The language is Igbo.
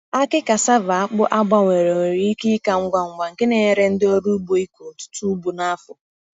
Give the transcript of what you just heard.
Akị cassava akpụ a gbanwere nwere ike ịka ngwa ngwa, nke na-enyere ndị ọrụ ugbo ịkụ ọtụtụ ugbo n’afọ.